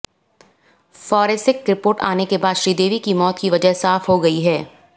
forensic report आने के बाद श्रीदेवी की मौत की वजह साफ हो गई है